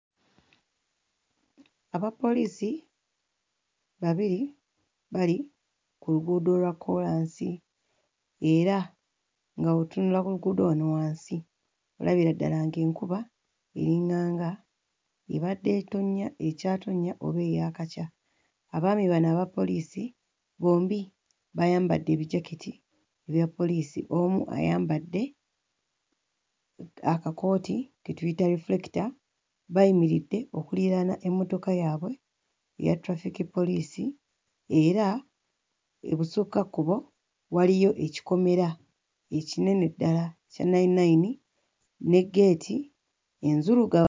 Abapoliisi babiri bali ku luguudo olwa kkoolansi era nga bw'otunula ku luguudo wano wansi olabira ddala ng'enkuba eringanga ebadde etonnya, ekyatonnya oba eyaakakya. Abaami bano abapoliisi bombi bayambadde ebijaketi ebya poliisi, omu ayambadde akakooti ke tuyita reflector. Bayimiridde okuliraana emmotoka yaabwe ya traffic poliisi era ebusukkakkubo waliyo ekikomera ekinene ddala kya nayininayini ne ggeeti enzuluga...